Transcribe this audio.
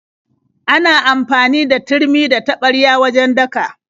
Ana amfani da turmi da taɓarya wajen daka.